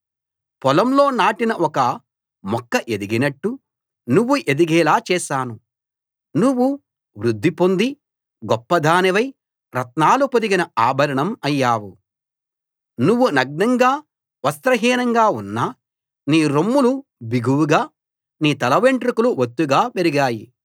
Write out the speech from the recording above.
పొలంలో నాటిన ఒక మొక్క ఎదిగినట్టు నువ్వు ఎదిగేలా చేశాను నువ్వు వృద్ధి పొంది గొప్పదానివై రత్నాలు పొదిగిన ఆభరణం అయ్యావు నువ్వు నగ్నంగా వస్త్రహీనంగా ఉన్నా నీ రొమ్ములు బిగువుగా నీ తలవెంట్రుకలు ఒత్తుగా పెరిగాయి